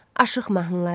Aşıq mahnıları.